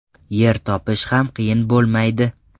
Yer topish ham qiyin bo‘lmaydi.